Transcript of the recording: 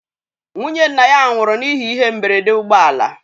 Nwụnye nna ya nwụrụ n'ihe ihe mgberede ụgbọ ala